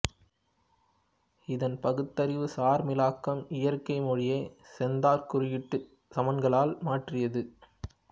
இதன் பகுத்தறிவுசார் மீளாக்கம் இயற்கை மொழியைச் செந்தரக் குறியீட்டுச் சமன்களால் மாற்றியது